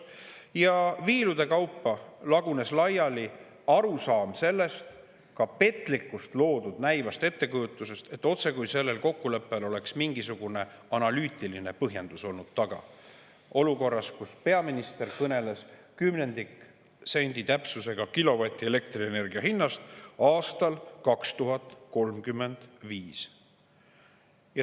Ja viilude kaupa lagunes laiali arusaam sellest loodud petlikust, näivast ettekujutusest, otsekui sellel kokkuleppel oleks mingisugune analüütiline põhjendus taga olnud olukorras, kus peaminister kõneles kümnendiksendi täpsusega kilovati elektrienergia hinnast aastal 2035.